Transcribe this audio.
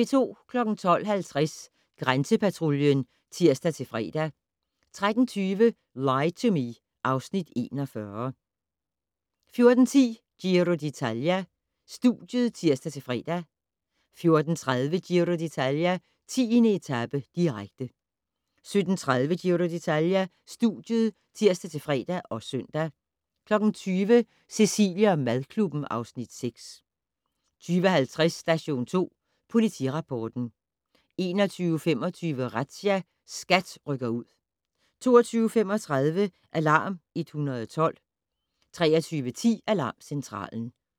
12:50: Grænsepatruljen (tir-fre) 13:20: Lie to Me (Afs. 41) 14:10: Giro d'Italia: Studiet (tir-fre) 14:30: Giro d'Italia: 10. etape, direkte 17:30: Giro d'Italia: Studiet (tir-fre og søn) 20:00: Cecilie & madklubben (Afs. 6) 20:50: Station 2 Politirapporten 21:25: Razzia - SKAT rykker ud 22:35: Alarm 112 23:10: Alarmcentralen